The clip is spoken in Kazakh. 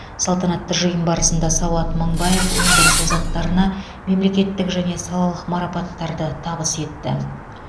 салтанатты жиын барысында сауат мыңбаев өндіріс озаттарына мемлекеттік және салалық марапаттарды табыс етті